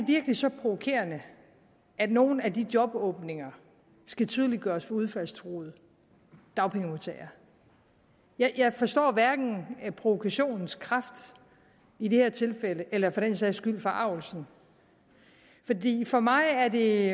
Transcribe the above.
virkelig så provokerende at nogle af de jobåbninger skal tydeliggøres for udfaldstruede dagpengemodtagere jeg forstår hverken provokationens kraft i dette tilfælde eller for den sags skyld forargelsen for mig er det